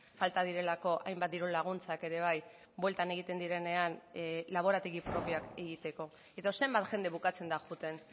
falta direlako hainbat diru laguntzak ere bai bueltan egiten direnean laborategi propioak egiteko edo zenbat jende bukatzen da joaten